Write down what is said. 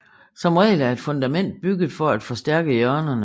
Som regel er et fundament bygget for at forstærke hjørnerne